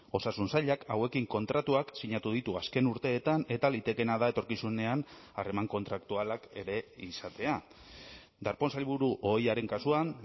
osasun sailak hauekin kontratuak sinatu ditu azken urteetan eta litekeena da etorkizunean harreman kontraktualak ere izatea darpón sailburu ohiaren kasuan